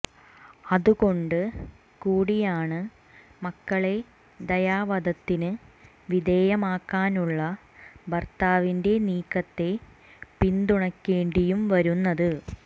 അതുകൊണ്ട് കൂടിയാണ് മക്കളെ ദയാവധത്തിന് വിധേയമാക്കാനുള്ള ഭർത്താവിന്റെ നീക്കത്തെ പിന്തുണയ്ക്കേണ്ടിയും വരുന്നത്